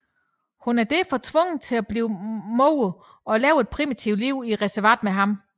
Hun er derfor tvunget til at blive moder og leve et primitivt liv i reservatet med ham